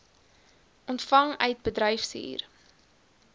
ontvang uit bedryfshuur